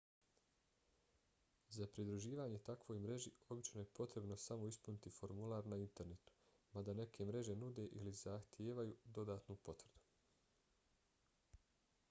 za pridruživanje takvoj mreži obično je potrebno samo ispuniti formular na internetu mada neke mreže nude ili zahtijevaju dodatnu potvrdu